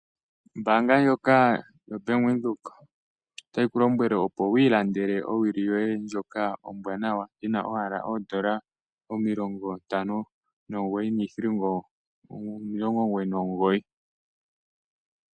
Ombaanga ndjoka yoBank Windhoek otayi ku lombwele, opo wi ilandele owili yoye ndjoka ombwaanawa yi na owala oo$ 59. 99.